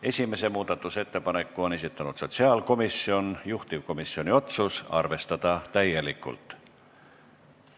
Esimese muudatusettepaneku on esitanud sotsiaalkomisjon, juhtivkomisjoni otsus on arvestada täielikult.